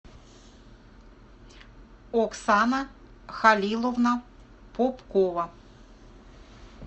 оксана халиловна попкова